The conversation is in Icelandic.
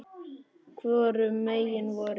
Hvorum megin voruð þið?